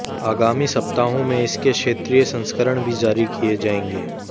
आगामी सप्ताहों में इसके क्षेत्रीय संस्करण भी जारी किए जाएंगे